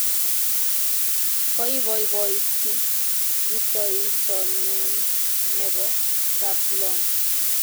Koipoipoiti rutoitonyun nepo Kaplong'.